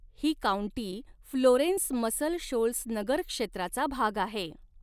ही county Florence Muscle Shoals नगरक्षेत्राचा भाग आहे.